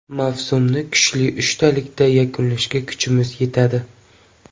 Mavsumni kuchli uchtalikda yakunlashga kuchimiz yetadi.